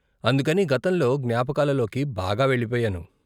అందుకని గతంలో జ్ఞాపకాలలోకి బాగా వెళ్ళిపోయాను.